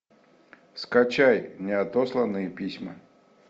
скачай неотосланные письма